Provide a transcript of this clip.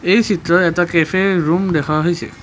এই চিত্ৰত এটা কেফেৰ ৰূম দেখা হৈছে।